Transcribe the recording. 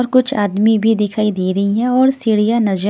और कुछ आदमी भी दिखाई दे रही हैं और सीढ़ियाँ नजर--